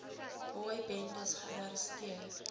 boy bendes gearresteer